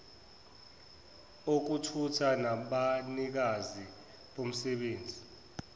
okuthutha nabanikazi bomsebenzi